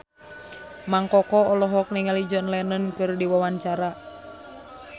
Mang Koko olohok ningali John Lennon keur diwawancara